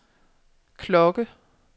klokke